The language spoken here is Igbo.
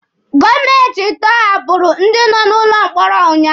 Gọọmenti tọhapụrụ ndị nọ n'ụlọ mkpọrọ ụnyaahụ.